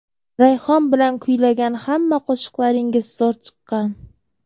Rayhon bilan kuylagan hamma qo‘shiqlaringiz zo‘r chiqqan.